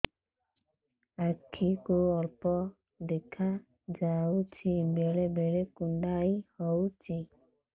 ଆଖି କୁ ଅଳ୍ପ ଦେଖା ଯାଉଛି ବେଳେ ବେଳେ କୁଣ୍ଡାଇ ହଉଛି